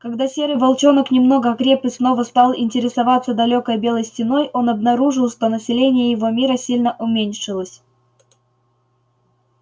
когда серый волчонок немного окреп и снова стал интересоваться далёкой белой стеной он обнаружил что население его мира сильно уменьшилось